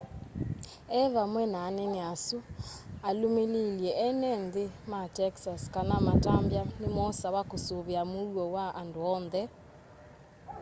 e vamwe na anene asu alũmĩlĩilye enenthĩ ma texas kana matambya nĩmosawa kũsũĩvĩa mũuo wa andũ onthe